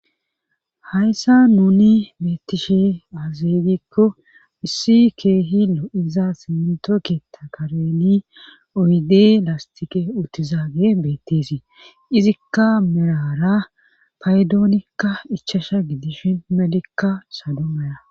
hayssa nuni beettishe azeygikko issi keehilo iza simintoketa kareni oyde lastike uttizaage beettisii izikka merara paydoonikka ichasha gidishin melekka salo meya